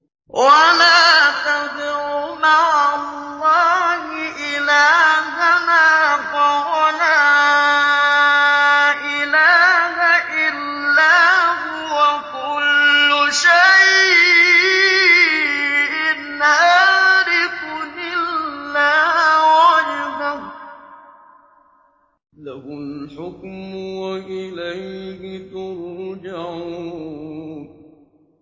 وَلَا تَدْعُ مَعَ اللَّهِ إِلَٰهًا آخَرَ ۘ لَا إِلَٰهَ إِلَّا هُوَ ۚ كُلُّ شَيْءٍ هَالِكٌ إِلَّا وَجْهَهُ ۚ لَهُ الْحُكْمُ وَإِلَيْهِ تُرْجَعُونَ